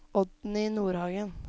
Oddny Nordhagen